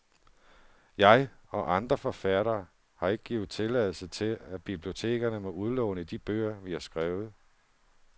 Jeg, og andre forfattere, har ikke givet tilladelse til, at bibliotekerne må udlåne de bøger, vi har skrevet.